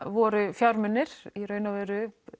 voru fjármunir í raun og veru